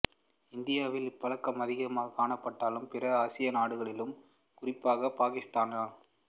இந்தியாவில் இப்பழக்கம் அதிகம் காணப்பட்டாலும் பிற ஆசிய நாடுகளிலும் குறிப்பாக பாக்கிஸ்தான்